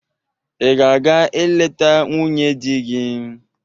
Ị ga-aga eleta nwunye di gị?